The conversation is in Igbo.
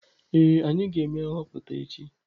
Ee, anyị ga-eme nhọpụta echi.